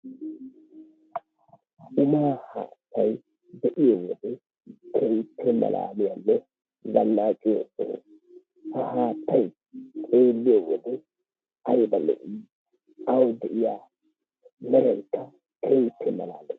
Umaa haattay be'iyo wode keehippe malaaliyanne zannaqiyo soho. Ha haattay xeeliiyo wode aybba lo"i awu diya meraykka keehippe malaalees.